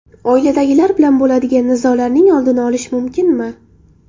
Oiladagilar bilan bo‘ladigan nizolarning oldini olish mumkinmi?